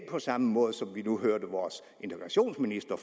på samme måde som vi nu hørte vores integrationsminister